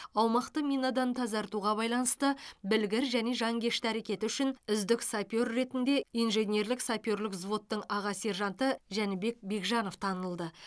аумақты минадан тазартуға байланысты білгір және жанкешті әрекеті үшін үздік сапер ретінде инженерлік саперлік взводтың аға сержанты жәнібек бекжанов танылды